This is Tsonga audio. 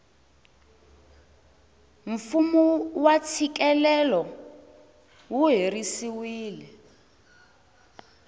fumu wa tshikelelo wu herisiwile